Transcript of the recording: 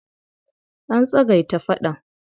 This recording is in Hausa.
An tsagaita faɗan.